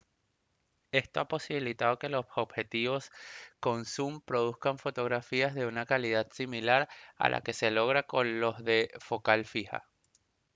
esto ha posibilitado que los objetivos con zum produzcan fotografías de una calidad similar a la que se logra con los de focal fija